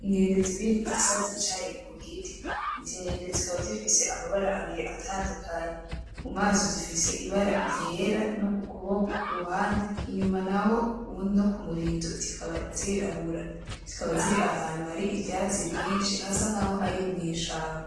Inkende zibiri zisa zicaye ku giti. Izo nkende zikaba zifise amabara abiri atandukanye. Mu maso zifise ibara ryera, no ku kuboko ku ruhande, inyuma naho no ku murizo, zikaba zirabura. Zikaba ziri ahantu hari ivyatsi vyinshi, hasa nk'aho ari mw'ishamba.